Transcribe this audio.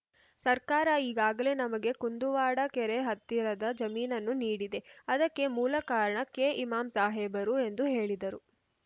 ಸರ್ಕಾರ ಈಗಾಗಲೇ ನಮಗೆ ಕುಂದುವಾಡ ಕೆರೆ ಹತ್ತಿರದ ಜಮೀನನ್ನು ನೀಡಿದೆ ಅದಕ್ಕೆ ಮೂಲ ಕಾರಣ ಕೆಇಮಾಂ ಸಾಹೇಬರು ಎಂದು ಹೇಳಿದರು